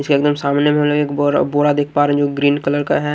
इसके एकदम सामने में बोरा बोरा देख पा रहे हैं ग्रीन कलर का है।